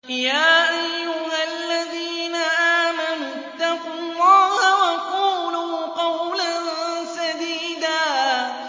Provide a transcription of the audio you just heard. يَا أَيُّهَا الَّذِينَ آمَنُوا اتَّقُوا اللَّهَ وَقُولُوا قَوْلًا سَدِيدًا